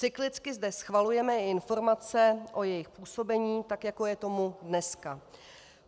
Cyklicky zde schvalujeme i informace o jejich působení, tak jako je tomu dneska.